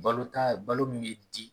Balota balo min bi di?